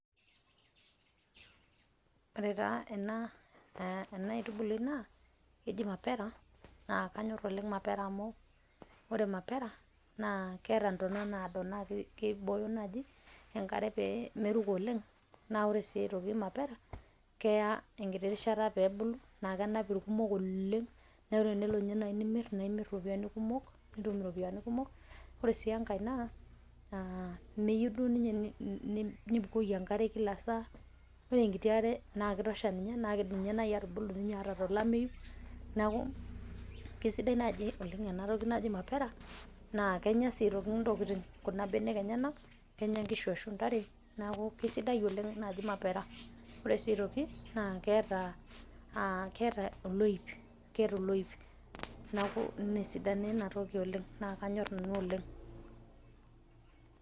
Ore taa ena aitubului naa keji Mapera naa kanyorr oleng' mapera amu ore mapera naa keeta ntona naado naa keibooyo naaji enkare pee meruko oleng'. Naa ore sii aitoki mapera keya enkiti rishata peebulu naa kenap ilkumok oleng' neeku tenilo ninye naaji nimirr naa imirr iropiyiani kumok nitum iropiyiani kumok. Ore sii enkae naa, meyieu duo ninye nibukoki enkare kila saa, ore enkiti are naa kitosha ninye naa kidim ninye naaji atubulu hata tolameyu neeku keisidai oleng' ena toki naji mapera naa kenya sii aitoki ntokitin kuna benek enyenak, kenya nkishu ashua ntare neeku keisiadai oleng naaji mapera. Ore sii aitoki naa keeta oloip, keeta oloip neeku ina esidano ena toki oleng' naa kanyorr nanu oleng'.